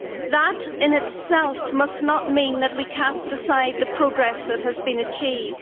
That in itself must not mean that we cast aside the progress that has been achieved.